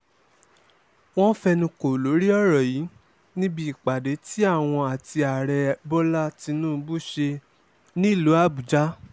wọ́n fẹnu kò lórí ọ̀rọ̀ yìí níbi ìpàdé tí àwọn àti ààrẹ bọ́lá tínúbù ṣe nílùú àbújá